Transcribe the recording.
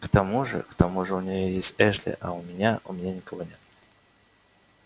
к тому же к тому же у нее есть эшли а у меня у меня никого